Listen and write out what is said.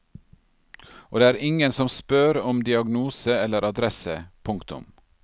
Og det er ingen som spør om diagnose eller adresse. punktum